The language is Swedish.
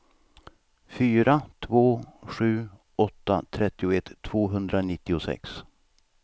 fyra två sju åtta trettioett tvåhundranittiosex